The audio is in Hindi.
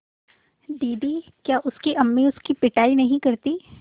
दीदी क्या उसकी अम्मी उसकी पिटाई नहीं करतीं